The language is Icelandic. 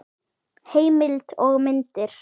Heimild og myndir